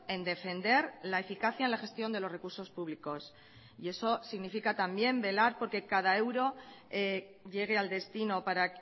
en defender la eficacia en la gestión de los recursos públicos y eso significa también velar por que cada euro llegue al destino para